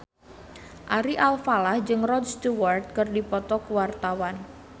Ari Alfalah jeung Rod Stewart keur dipoto ku wartawan